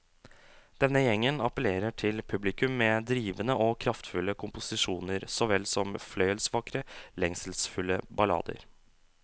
Denne gjengen appellerer til publikum med drivende og kraftfulle komposisjoner såvel som fløyelsvakre, lengselsfulle ballader.